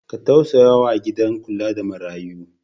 Ka tausaya wa gidan kula da marayu.